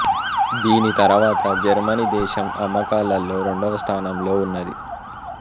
దీని తర్వాత జర్మనీ దేశం అమ్మకాలలో రెండవ స్థానంలో ఉన్నది